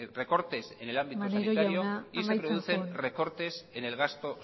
recortes en el ámbito sanitario y se producen recortes en el gasto